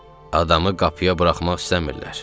Adamı qapıya buraxmaq istəmirlər.